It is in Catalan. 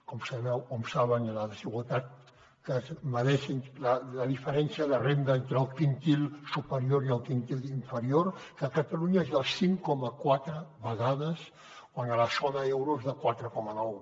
com saben la desigualtat que és la diferència de renda entre el quintil superior i el quintil inferior que a catalunya és de cinc coma quatre vegades quan a la zona euro és de quatre coma nou